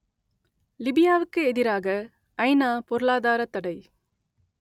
லிபியாவுக்கு எதிராக ஐநா பொருளாதாரத் தடை